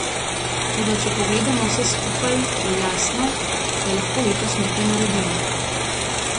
Toda če pogledamo vse skupaj, je jasno, da lahko letos nekaj naredimo.